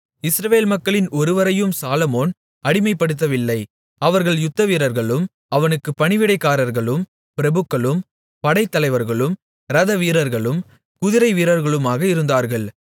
இஸ்ரவேல் மக்களில் ஒருவரையும் சாலொமோன் அடிமைப்படுத்தவில்லை அவர்கள் யுத்தவீரர்களும் அவனுக்குப் பணிவிடைக்காரர்களும் பிரபுக்களும் படைத்தலைவர்களும் இரதவீரர்களும் குதிரைவீரர்களுமாக இருந்தார்கள்